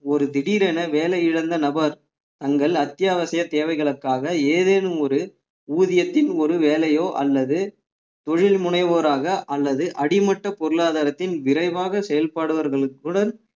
ஒரு திடீரென வேலை இழந்த நபர் தங்கள் அத்தியாவசிய தேவைகளுக்காக ஏதேனும் ஒரு ஊதியத்தின் ஒரு வேலையோ அல்லது தொழில் முனைவோராக அல்லது அடிமட்ட பொருளாதாரத்தின் விரைவாக செயல்படுபவர்களுடன்